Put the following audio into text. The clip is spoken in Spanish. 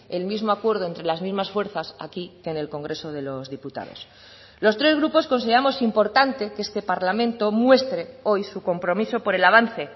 el mismo acuerdo entre las mismas fuerzas aquí que en el congreso de los diputados los tres grupos consideramos importante que este parlamento muestre hoy su compromiso por el avance